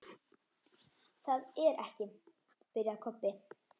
Það er ekki. byrjaði Kobbi.